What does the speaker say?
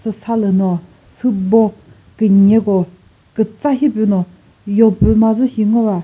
sü salü no sübo künyeko kütsa shipüno yopüma zü shi ngova.